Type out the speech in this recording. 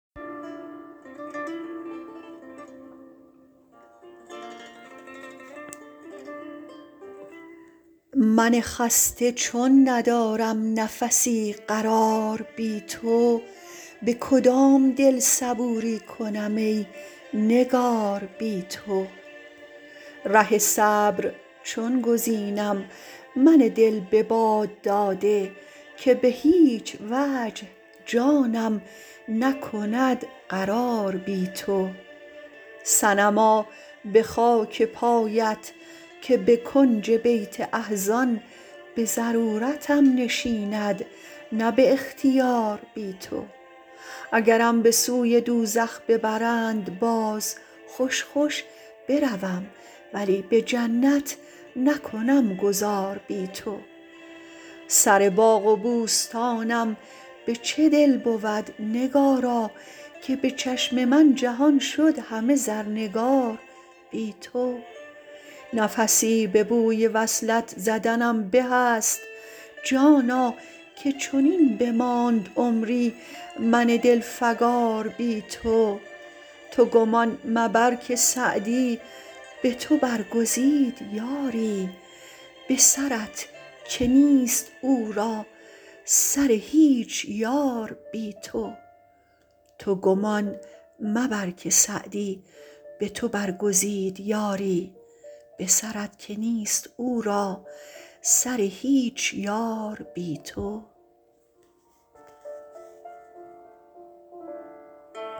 من خسته چون ندارم نفسی قرار بی تو به کدام دل صبوری کنم ای نگار بی تو ره صبر چون گزینم من دل به باد داده که به هیچ وجه جانم نکند قرار بی تو صنما به خاک پایت که به کنج بیت احزان به ضرورتم نشیند نه به اختیار بی تو اگرم به سوی دوزخ ببرند باز خوش خوش بروم ولی به جنت نکنم گذار بی تو سر باغ و بوستانم به چه دل بود نگارا که به چشم من جهان شد همه زرنگار بی تو نفسی به بوی وصلت زدنم بهست جانا که چنین بماند عمری من دلفگار بی تو تو گمان مبر که سعدی به تو برگزید یاری به سرت که نیست او را سر هیچ یار بی تو